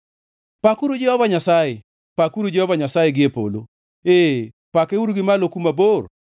Pakuru Jehova Nyasaye! Pakuru Jehova Nyasaye gie polo, ee, pakeuru gi malo kuma bor.